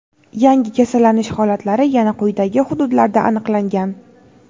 Yangi kasallanish holatlari yana quyidagi hududlarda aniqlangan:.